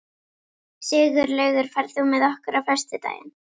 Sigurlaugur, ferð þú með okkur á föstudaginn?